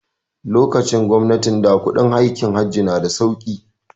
Lokacin gwamnatin da kuɗin aikin Hajj na da sauki